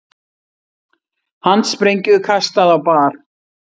Handsprengju kastað á bar